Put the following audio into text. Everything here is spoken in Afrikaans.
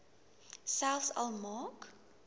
selfs al maak